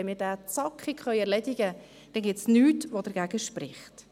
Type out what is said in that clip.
Wenn wir diesen zackig erledigen können, gibt es nichts, das dagegenspricht.